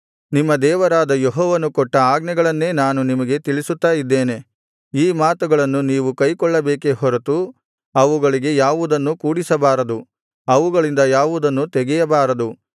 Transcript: ನಿಮ್ಮ ದೇವರಾದ ಯೆಹೋವನು ಕೊಟ್ಟ ಆಜ್ಞೆಗಳನ್ನೇ ನಾನು ನಿಮಗೆ ತಿಳಿಸುತ್ತಾ ಇದ್ದೇನೆ ಈ ಮಾತುಗಳನ್ನು ನೀವು ಕೈಕೊಳ್ಳಬೇಕೇ ಹೊರತು ಅವುಗಳಿಗೆ ಯಾವುದನ್ನೂ ಕೂಡಿಸಬಾರದು ಅವುಗಳಿಂದ ಯಾವುದನ್ನೂ ತೆಗೆಯಬಾರದು